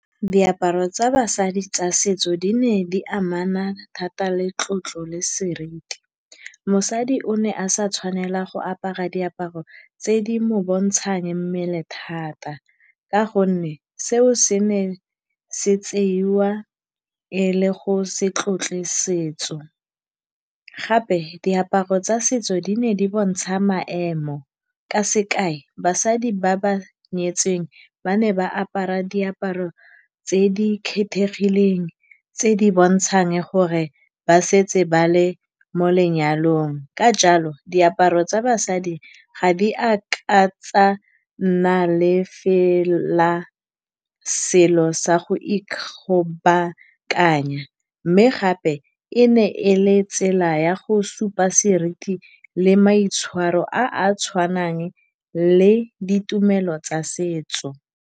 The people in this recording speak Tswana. Diaparo tsa basadi tsa setso di ne di amana thata le tlotlo le seriti. Mosadi o ne a sa tshwanela go apara diaparo tse di mo bontshang mmele thata ka gonne seo se ne se tseiwa e le go se tlotle setso. Gape diaparo tsa setso di ne di bontsha maemo, ka sekai basadi ba ba nyetseng ba ne ba apara diaparo tse di kgethegileng tse di bontshang gore ba setse ba le mo lenyalong. Ka jalo diaparo tsa basadi ga di a ka tsa nna le fela selo sa go ikgobakanya, mme gape e ne e le tsela ya go supa seriti le maitshwaro a a tshwanang le ditumelo tsa setso.